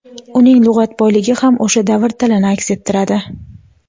uning lug‘at boyligi ham o‘sha davr tilini aks ettiradi.